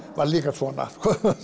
var svona